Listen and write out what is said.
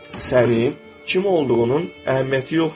Sənin kim olduğunun əhəmiyyəti yoxdur.